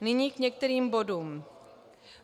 Nyní k některým bodům.